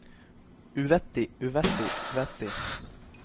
uvettig uvettig uvettig